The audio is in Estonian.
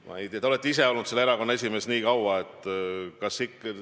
Ma ei tea, te olite ise nii kaua selle erakonna esimees.